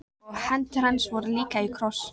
Og hendur hans voru líka í kross.